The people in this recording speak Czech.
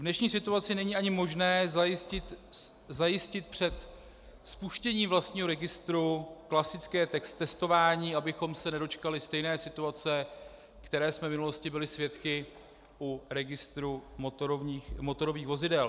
V dnešní situaci není ani možné zajistit před spuštěním vlastního registru klasické testování, abychom se nedočkali stejné situace, které jsme v minulosti byli svědky u registru motorových vozidel.